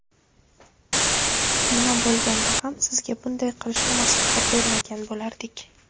Nima bo‘lganda ham sizga bunday qilishni maslahat bermagan bo‘lardik.